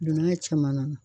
Don n'a caman na